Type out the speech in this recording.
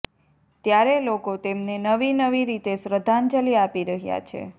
ત્યારે લોકો તેમને નવી નવી રીતે શ્રધ્ધાંજલિ આપી રહ્યા છે